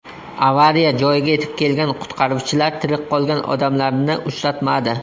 Avariya joyiga yetib kelgan qutqaruvchilar tirik qolgan odamlarni uchratmadi.